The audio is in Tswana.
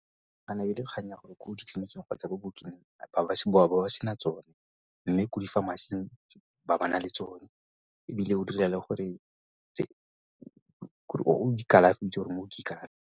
ne e le kgang ya gore ko ditleliniking kgotsa bookeng ba bo ba sena tsone mme ko di-pharmacy-ing ba ba na le tsone ebile o dira le gore kalafi gore mo ke .